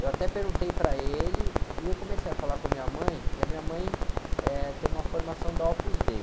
Eu até perguntei para ele, e eu comecei a falar com a minha mãe, e a minha mãe, eh, tem uma formação da Opus Dei.